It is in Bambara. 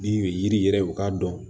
Ni u ye yiri yɛrɛ u k'a dɔn